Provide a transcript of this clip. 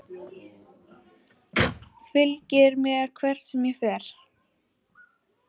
Fylgir mér hvert sem ég fer.